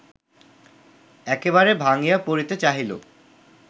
একেবারে ভাঙ্গিয়া পড়িতে চাহিল